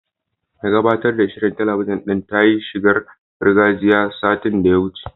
Mai gabatar da shirin talabijin din ta yi shigar gargajiya, satin da ya wuce.